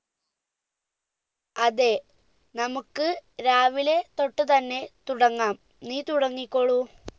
അതെ നമ്മുക്ക് രാവിലെ തൊട്ട് തന്നെ തുടങ്ങാം നീ തുടങ്ങിക്കോളൂ